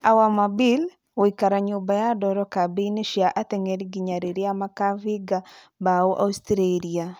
Awer Mabil:gũikara nyũmba ya ndoro kambĩini cia atengeri nginya rĩrĩa makabinga mbao Austraria